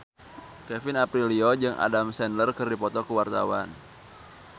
Kevin Aprilio jeung Adam Sandler keur dipoto ku wartawan